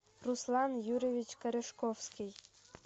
руслан юрьевич корешковский